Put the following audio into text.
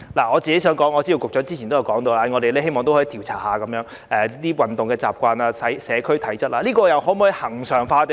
我知道局長之前曾說過希望可以調查市民的運動習慣和社區體質，這些工作可否恆常進行呢？